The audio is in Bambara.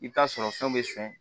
I bɛ t'a sɔrɔ fɛn bɛ sɔn